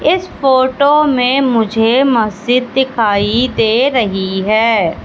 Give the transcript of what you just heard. इस फोटो में मुझे मस्जिद दिखाई दे रही है।